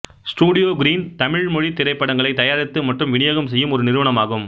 studio Green Tamil மொழித் திரைப்படங்களை தயாரித்து மற்றும் விநியோகம் செய்யும் ஒரு நிறுவனம் ஆகும்